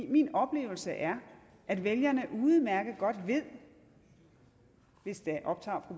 min oplevelse er at vælgerne udmærket godt ved hvis det optager